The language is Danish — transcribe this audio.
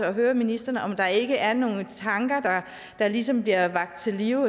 og høre ministeren om der ikke er nogle tanker der ligesom bliver vakt til live